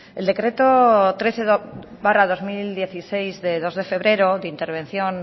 el decreto trece barra dos mil dieciséis de dos de febrero de intervención